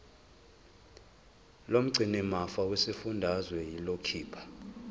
lomgcinimafa lesifundazwe liyokhipha